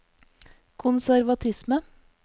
konservatisme